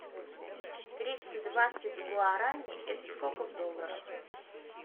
триста двадцать гуарани это сколько в долларах